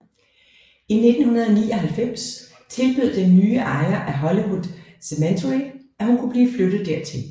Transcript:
I 1999 tilbød den nye ejer af Hollywood Cemetery at hun kunne blive flyttet dertil